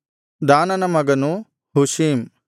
ದಾನನ ಮಗನು ಹುಶೀಮ್